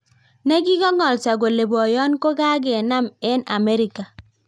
Nekikang'alsoo kolee poyoon kokakenaam eng amerika